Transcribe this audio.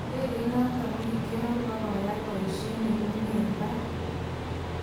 Indegeit noton kokikioror kobakoyai boishet nekiunye eng barak.